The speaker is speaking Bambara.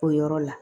O yɔrɔ la